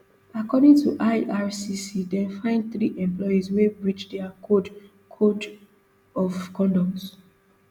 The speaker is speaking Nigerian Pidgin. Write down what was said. according to ircc dem find three employees wey breach dia code code of conduct